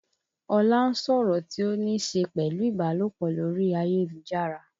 Ọlá ń sọ̀rọ̀ tí ó níṣe pẹ̀lú ìbálòpọ̀ lórí ayélujára